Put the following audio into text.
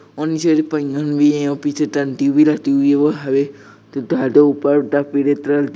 और नीचे पहियन भी है और पीछे टंटी भी रखी हुई है वहाँ पे त जादे ऊपर